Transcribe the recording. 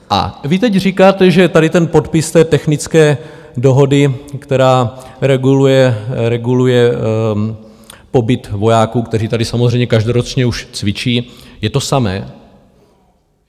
A vy teď říkáte, že tady ten podpis té technické dohody, která reguluje pobyt vojáků, kteří tady samozřejmě každoročně už cvičí, je to samé.